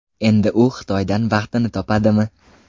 Endi u Xitoydan baxtini topadimi?